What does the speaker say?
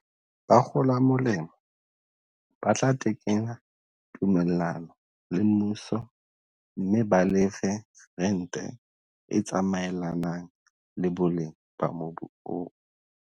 Bakgola molemo ba tla tekena tumellano le mmuso mme ba lefe rente e tsamaelanang le boleng ba mobu oo.